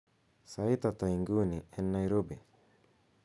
sait ata inguni en nairobi